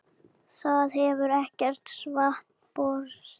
Það hefur ekkert svar borist.